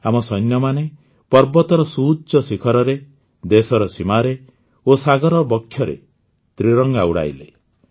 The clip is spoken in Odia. ଆମ ସୈନ୍ୟମାନେ ପର୍ବତର ସୁଉଚ୍ଚ ଶିଖରରେ ଦେଶର ସୀମାରେ ଓ ସାଗର ବକ୍ଷରେ ତ୍ରିରଙ୍ଗା ଉଡ଼ାଇଲେ